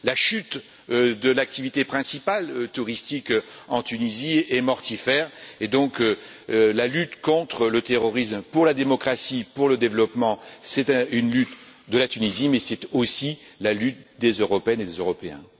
La chute de l'activité principale touristique en Tunisie est mortifère, et donc, la lutte contre le terrorisme, pour la démocratie, pour le développement, c'est une lutte de la Tunisie, mais c'est aussi la lutte des Européennes et des Européens.